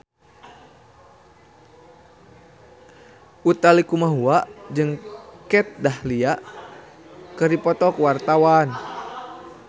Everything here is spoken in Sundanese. Utha Likumahua jeung Kat Dahlia keur dipoto ku wartawan